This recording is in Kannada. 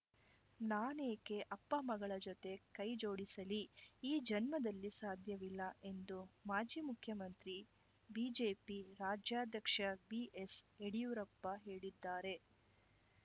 ನಾನೇಕೆ ಅಪ್ಪ ಮಕ್ಕಳ ಜೊತೆ ಕೈಜೋಡಿಸಲಿ ಈ ಜನ್ಮದಲ್ಲಿ ಸಾಧ್ಯವಿಲ್ಲ ಎಂದು ಮಾಜಿ ಮುಖ್ಯಮಂತ್ರಿ ಬಿಜೆಪಿ ರಾಜ್ಯಾಧ್ಯಕ್ಷ ಬಿಎಸ್‌ಯಡಿಯೂರಪ್ಪ ಹೇಳಿದ್ದಾರೆ